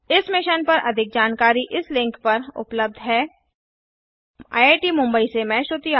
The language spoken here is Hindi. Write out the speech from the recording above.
इस मिशन पर अधिक जानकारी इस लिंक पर उपलब्ध है httpspoken tutorialorgNMEICT Intro यह स्क्रिप्ट लता द्वारा अनुवादित है